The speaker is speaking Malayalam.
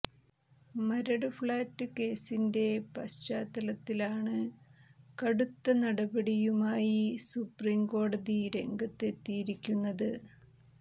മരട് ഫ്ളാറ്റ് കേസിന്റെ പശ്ചാത്തലത്തിലാണ് കടുത്ത നടപടിയുമായി സുപ്രീം കോടതി രംഗത്ത് എത്തിയിരിക്കുന്നത്